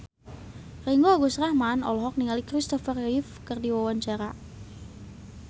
Ringgo Agus Rahman olohok ningali Christopher Reeve keur diwawancara